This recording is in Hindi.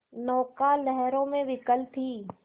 नौका लहरों में विकल थी